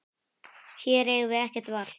Hér eigum við ekkert val.